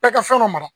Bɛɛ ka fɛn dɔ mara